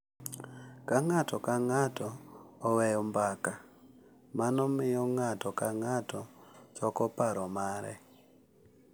Ka ng’ato ka ng’ato oweyo mbaka, mano miyo ng’ato ka ng’ato choko paro mare,